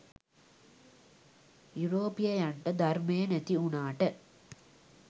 යුරෝපීයයන්ට ධර්මය නැති වුණාට